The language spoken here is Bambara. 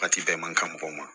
Waati bɛɛ man kan mɔgɔw ma